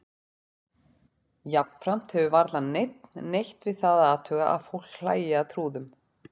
Jafnframt hefur varla neinn neitt við það að athuga að fólk hlæi að trúðum.